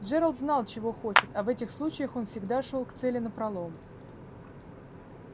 джералд знал чего хочет а в этих случаях он всегда шёл к цели напролом